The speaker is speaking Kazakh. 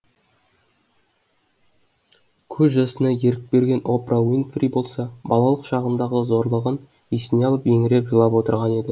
көз жасына ерік берген опра уинфри болса балалық шағындағы зорлығын есіне алып еңіреп жылап отырған еді